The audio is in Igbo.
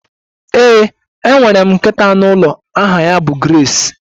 Ee, enwere m nkịta anụ ụlọ aha ya bụ Grace